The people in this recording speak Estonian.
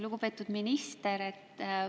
Lugupeetud minister!